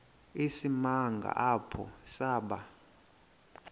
isimanga apho saba